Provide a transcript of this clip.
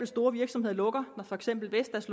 store virksomheder lukker for eksempel vestas